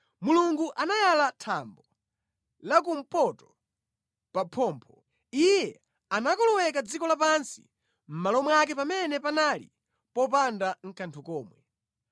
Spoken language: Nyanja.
Mulungu anayala thambo la kumpoto pa phompho; Iye anakoloweka dziko lapansi mʼmalo mwake pamene panali popanda nʼkanthu komwe.